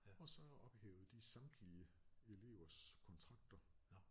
Og så ophævede de samtlige elevers kontrakter